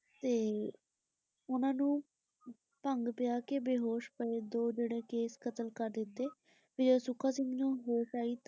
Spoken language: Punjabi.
ਤੇ ਉਨ੍ਹਾਂ ਨੂੰ ਭੰਗ ਪੀਆ ਕੇ ਬੇਹੋਸ਼ ਪਏ ਦੇ ਜਿਹੜੇ ਕੇਸ਼ ਕਤਲ ਕਰ ਦਿੱਤੇ ਫੇਰ ਸੁੱਖਾ ਸਿੰਘ ਨੂੰ ਹੋਸ਼ ਆਈ।